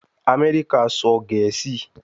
Amẹrika sọ Gẹẹsi